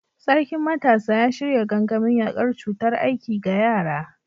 Sarkin Matasa ya shirya gangamin yakar cutar aiki ga yara.